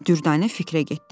Dürdanə fikrə getdi.